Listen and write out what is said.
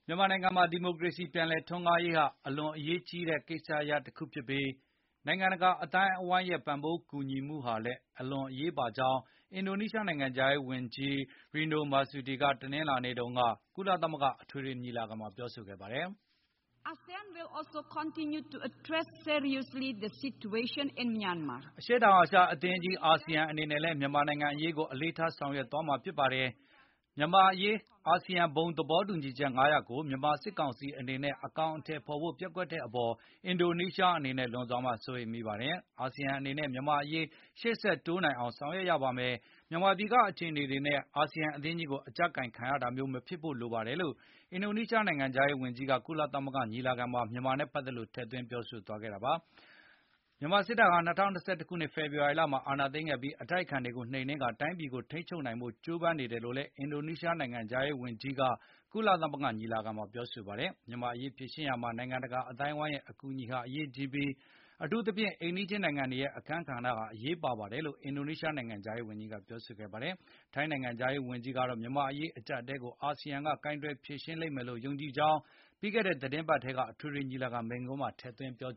မြန်မာနိုင်ငံမှာ ဒီမိုကရေစီ ပြန်လည်ထွန်းကားရေးဟာ အလွန်အရေးကြီးတဲ့ ကိစ္စရပ်တခုဖြစ်ပြီး နိုင်ငံတကာအသိုင်းအဝိုင်းရဲ့ ကူညီပံ့ပိုးမှုဟာ အလွန်အရေးပါကြောင်း အင်ဒိုနီးရှား နိုင်ငံခြားရေးဝန်ကြီး Retno Marsudi က တနင်္လာနေ့က ကုလသမဂ္ဂ အထွေထွေ ညီလာခံမှာ ပြောကြားခဲ့ပါတယ်။ “အရှေ့တောင်အ ာရှနိုင်ငံများ အသင်းကြီး ASEAN အနေနဲ့လည်း မြန်မာနိုင်ငံ အရေးကို အလေးထား ဆောင်ရွက်သွားမှာ ဖြစ်ပါတယ်။ မြန်မာအရေး ASEAN ဘုံသဘောတူညီချက် ၅ ရပ်ကို မြန်မာစစ်ကောင်စီ အနေနဲ့ အကောင်အထည်ဖေါ်ဖို့ ပျက်ကွက်တဲ့အပေါ် အင်ဒိုနီးရှား အနေနဲ့ လွန်စွာမှစိုးရိမ်မိပါတယ်။ အာဆီယံအနေနဲ့ မြန်မာ့အရေး ရှေ့ဆက်တိုးနိုင်အောင် ဆောင်ရွက်ရပါမယ်။ မြန်မာပြည်က အခြေအနေတွေနဲ့ ASEAN အသင်းကြီးကို အကြပ်ကိုင်ခံရတာမျိုး မဖြစ်ဖို့လိုပါတယ် လို့” အင်ဒိုနီးရှား နိုင်ငံခြားရေးဝန်ကြီးက ကုလသမဂ္ဂ အထွေထွေ ညီလာခံမှာ မြန်မာနိုင်ငံနဲ့ ပတ်သက်လို့ ထည့်သွင်းပြောဆိုသွားခဲ့ပါတယ်။ မြန်မာစစ်တပ်ဟာ ၂၀၂၁ ခုနှစ် ဖေဖေါ်ဝါရီလက အာဏာသိမ်းခဲ့ပြီး အတိုက်အခံတွေကို နှိမ်နင်းကာ တိုင်းပြည်ကို ထိန်းချုပ်နိုင်ဖို့ ကြိုးပမ်းနေတယ်လို့လည်း အင်ဒိုနီးရှားနိုင်ငံခြားရေးဝန်ကြီး Retno Marsudi က ကုလသမဂ္ဂညီလာခံမှာ ပြောကြားခဲ့ပါတယ်။ မြန်မာ့အရေး ဖြေရှင်းရာမှာ နိုင်ငံတကာ အသိုင်းအဝိုင်းရဲ့ ကူညီပံ့ပိုးမှုဟာ အရေးကြီးပြီး၊ အထူးသဖြင့် အိမ်နီးချင်း နိုင်ငံတွေရဲ့ အခန်းကဏ္ဍဟာ အရေးပါတယ်လို့လည်း အင်ဒိုနီးရှား နိုင်ငံခြားရေးဝန်ကြီးက ပြောဆိုခဲ့တာပါ။ ထိုင်းနိုင်ငံခြားရေးဝန်ကြီး Don Pramudwinai ကတော့ မြန်မာ့နိုင်ငံရေး အကျပ်အတည်းတွေကို အာဆီယံက ကိုင်တွယ်ဖြေရှင်းနိုင်မယ်လို့ ယုံကြည်ကြောင်း ပြီးခဲ့တဲ့ သီတင်းပတ်ထဲ ကုလသမဂ္ဂ အထွေထွေ ညီလာခံ မိန့်ခွန်းမှာ ထည့်သွင်းပြော